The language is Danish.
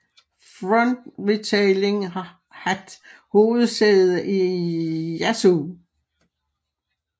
Front Retailing hat hovedsæde i Yaesu